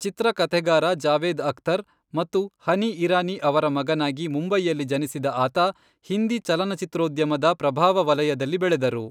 ಚಿತ್ರಕಥೆಗಾರರಾದ ಜಾವೇದ್ ಅಖ್ತರ್ ಮತ್ತು ಹನಿ ಇರಾನಿ ಅವರ ಮಗನಾಗಿ ಮುಂಬೈಯಲ್ಲಿ ಜನಿಸಿದ ಆತ ಹಿಂದಿ ಚಲನಚಿತ್ರೋದ್ಯಮದ ಪ್ರಭಾವ ವಲಯದಲ್ಲಿ ಬೆಳೆದರು.